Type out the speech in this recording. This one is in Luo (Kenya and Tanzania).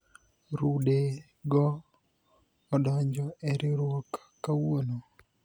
rude go odonjo e riwruok kawuono